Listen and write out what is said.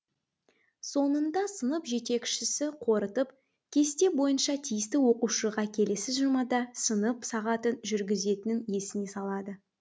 соңында сынып жетекшісі қорытып кесте бойынша тиісті оқушыға келесі жұмада сынып сағатын жүргізетінін есіне салады